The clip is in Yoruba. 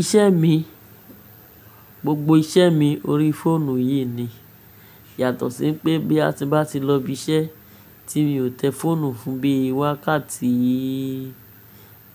Iṣẹ́ mi, gbogbo iṣẹ́ mi orí fóònù yìí ni. Yàtọ̀ sí n pé boya ti n bá ti lọ ibi iṣẹ́ tí mi ò tẹ fóònù fún bíi wákàtí